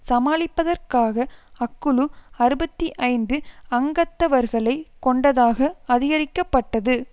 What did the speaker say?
சமாளிப்பதற்காக அக்குழு அறுபத்தி ஐந்து அங்கத்தவர்களை கொண்டதாக அதிகரிக்கப்பட்டது